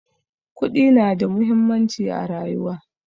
Kuɗi na da muhimmanci a rayuwa